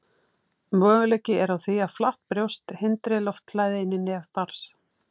Möguleiki er á því að flatt brjóst hindri loftflæði inn í nef barns.